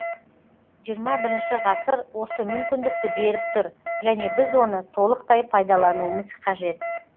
жиырма бірінші ғасыр осы мүмкіндікті беріп тұр және біз оны толықтай пайдалануымыз қажет